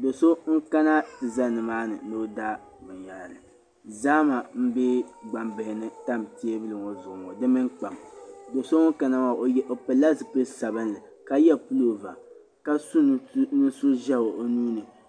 do so nkana ti zani maani ni ɔ da bɛn yahiri zahama m be gbam bilini n tam. teebuli ŋɔ zuɣu ŋɔ di mini kpam doso ŋun kana maa ɔ pɛlila zipili sabinli, ka ye pulɔva. ka so nintuʒɛhi ɔnuuni.